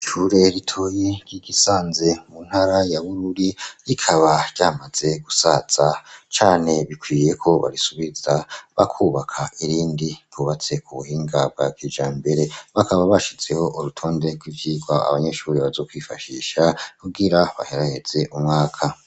Ishure ritoyi ry'igisanze mu ntara ya Bururi, rikaba ryamaze gusaza cane, bikwiye ko barisubiza bakubaka irindi ryubatse ku buhinga bwa kijambere bakaba bashizeho urutonde kw'ivyigwa abanyeshuri bazokwifashisha kugira baheraheze umwaka